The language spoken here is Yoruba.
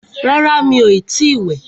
Rárá, mí o ti ì wẹ̀.